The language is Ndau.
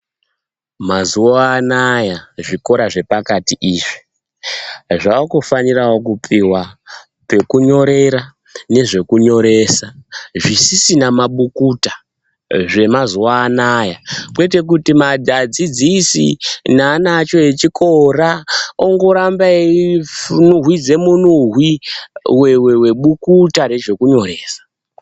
Mazuva anaya, zvikora zvepakati izvi, zvave kufanirawo kupihwa, pekunyorera nezvekunyoresa, zvisisina mabukuta. Zvemazuva anayaa, kwete kuti adzidzisi naana acho echikora, ongoramba einhuhwidze munhuhwi webukuta rezvekunyoresa.